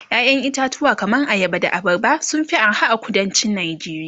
ƴaƴan itatuwa kaman ayaba da abarba sun Fi arha a kuduncin Nigeria